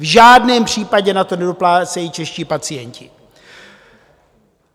V žádném případě na to nedoplácejí čeští pacienti.